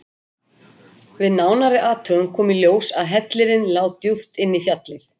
Við nánari athugun kom í ljós að hellirinn lá djúpt inn í fjallið.